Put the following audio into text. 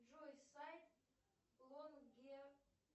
джой сайт лонге